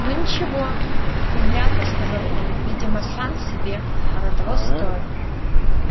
ну ничего невнятно сказал он видимо сам себе оно того стоит